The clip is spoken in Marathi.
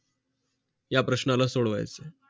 या प्रश्नाला सोडवा